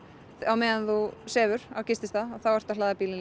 á meðan þú sefur á gististað að þá ertu að hlaða bílinn